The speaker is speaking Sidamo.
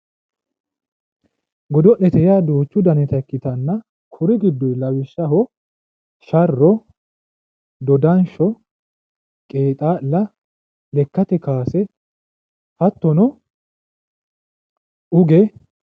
Godo'lete yaa duuchu dannitta ikkittanna kuri giddo lawishshaho sharro ,dodansho, qeexalla, lekkate kowaase hattono uge